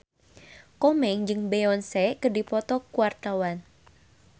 Komeng jeung Beyonce keur dipoto ku wartawan